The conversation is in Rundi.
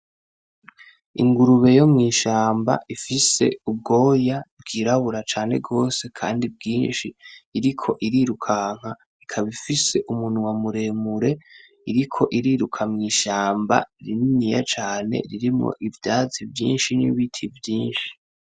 Ingurube yo mw'ishamba ifise ubwoya bwirabura cane gose kandi bwinshi iriko irirukanka ikaba ifise umunwa muremure iriko iriruka mw'ishamba rininiya cane ririmwo ivyatsi vyinshi n'ibiti vyinshi.